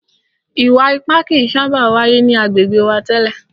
Ìwà ipá kìí sábà wáyé ni agbègbè wa tẹ́lẹ̀.